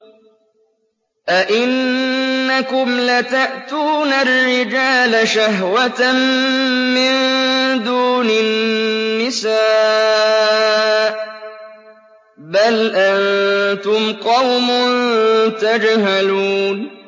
أَئِنَّكُمْ لَتَأْتُونَ الرِّجَالَ شَهْوَةً مِّن دُونِ النِّسَاءِ ۚ بَلْ أَنتُمْ قَوْمٌ تَجْهَلُونَ